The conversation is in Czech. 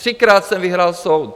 Třikrát jsem vyhrál soud.